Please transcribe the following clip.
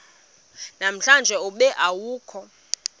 namhlanje ube awukho